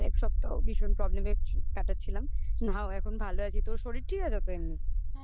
এটা এক সপ্তাহ ভীষণ problem এ কাটাচ্ছিলাম. now এখন ভালো আছি. তোর শরীর ঠিক আছে তো এমনি?